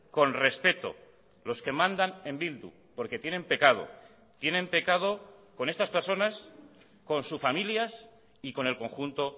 con respeto los que mandan en bildu porque tienen pecado tienen pecado con estas personas con sus familias y con el conjunto